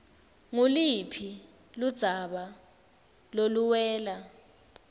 nguluphi ludzaba loluwela